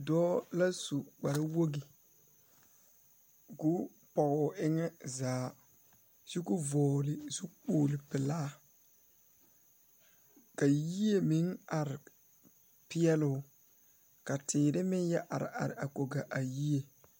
Dɔɔ la su kparewoge koo pɔgoo eŋɛ zaa kyo ko vɔgle zu kpogle pelaa la yie meŋ are peɛloo ka teere meŋ yɛ are are a kɔge a yie.